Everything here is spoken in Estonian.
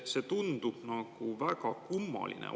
See tundub väga kummaline.